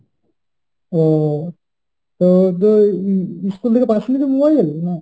ও তো ও তো ই~ school থেকে পাশ নি তো mobile?